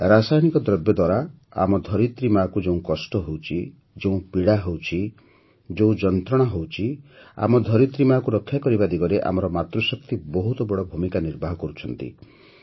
ରାସାୟନିକ ଦ୍ରବ୍ୟ ଦ୍ୱାରା ଆମ ଧରିତ୍ରୀ ମାଆକୁ ଯେଉଁ କଷ୍ଟ ହେଉଛି ଯେଉଁ ପୀଡ଼ା ହେଉଛି ଯେଉଁ ଯନ୍ତ୍ରଣା ହେଉଛି ଆମ ଧରିତ୍ରୀ ମା କୁ ରକ୍ଷା କରିବା ଦିଗରେ ଆମର ମାତୃଶକ୍ତି ବହୁତ ବଡ଼ ଭୂମିକା ନିର୍ବାହ କରୁଛି